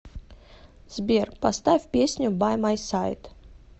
сбер поставь песню бай май сайд